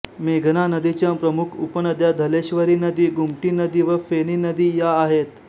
मेघना नदीच्या प्रमुख उपनद्या धलेश्वरी नदी गुमटी नदी व फेणी नदी या आहेत